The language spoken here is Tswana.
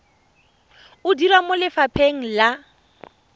o dira mo lefapheng la